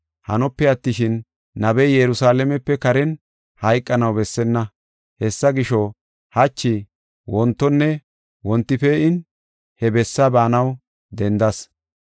Hanope attishin, nabey Yerusalaamepe karen hayqanaw bessenna. Hessa gisho, hachi, wontonne wonti pee7in he bessa baanaw dendas.